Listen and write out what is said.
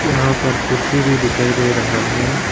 यहां पर कुर्सी भी दिखाई दे रहा है।